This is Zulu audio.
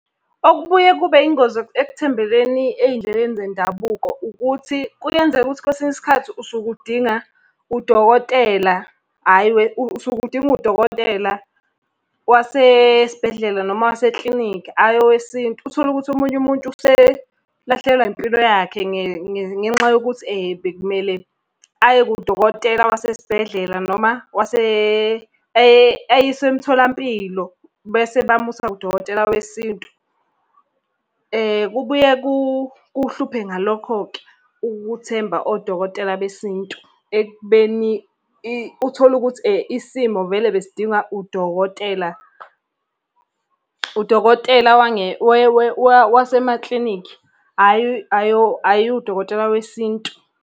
Okubuye kube yingozi ekuthembeleni ey'ndleleni zendabuko ukuthi, kuyenzeka ukuthi kwesinye isikhathi usuke udinga udokotela hhayi . Usuke udinga udokotela wasesibhedlela noma waseklinikhi hhayi owesintu. Uthole ukuthi omunye umuntu uselahlekelwa impilo yakhe ngenxa yokuthi bekumele aye kudokotela wasesibhedlela noma ayiswe emtholampilo, bese bamusa kudokotela wesintu. Kubuye kuhluphe ngalokho-ke ukuthemba odokotela besintu ekubeni uthole ukuthi isimo vele besidinga udokotela. Udokotela wasemaklinikhi, hhayi udokotela wesintu.